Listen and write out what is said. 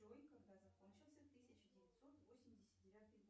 джой когда закончился тысяча девятьсот восемьдесят девятый год